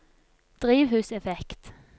drivhuseffekt